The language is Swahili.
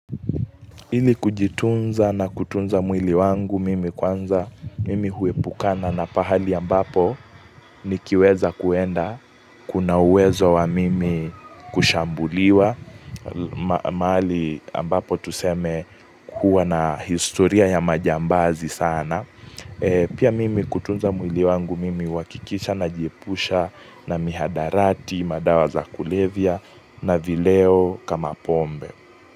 Ili kujitunza na kutunza mwili wangu mimi kwanza mimi huepukana na pahali ambapo ni kiweza kuenda kuna uwezo wa mimi kushambuliwa mahali ambapo tuseme kuwa na historia ya majambazi sana. Pia mimi kutunza mwili wangu mimi huhakikisha najiepusha na mihadarati, madawa za kulevia na vileo kama pombe.